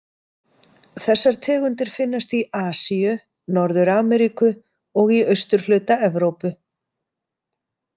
Þessar tegundir finnast í Asíu, Norður-Ameríku og í austurhluta Evrópu.